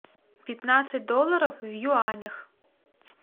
пятнадцать долларов в юанях